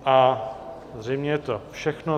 A zřejmě je to všechno.